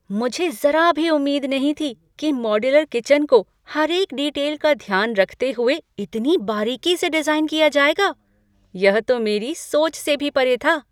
मुझे ज़रा भी उम्मीद नहीं थी कि मॉड्यूलर किचन को हर एक डिटेल का ध्यान रखते हुए इतनी बारीकी से डिजाइन किया जाएगा! यह तो मेरी सोच से भी परे था।